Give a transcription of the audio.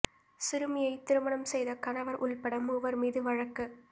சிறுமியை திருமணம் செய்த கணவா் உள்பட மூவா் மீது வழக்கு